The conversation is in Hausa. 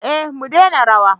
eh mu dena rawa